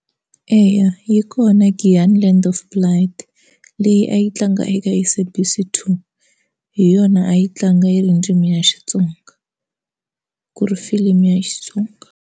Eya yi kona Giyani Land of Blood leyi a yi tlanga eka SABC 2 hi yona a yi tlanga yi rindzimi ya xitsonga ku ri filimi ya xitsonga.